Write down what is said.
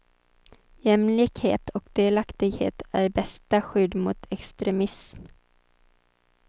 Jämlikhet och delaktighet är bästa skydd mot extremism.